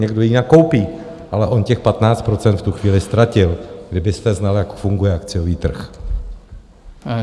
Někdo ji nakoupí, ale on těch 15 % v tu chvíli ztratil, kdybyste znal, jak funguje akciový trh.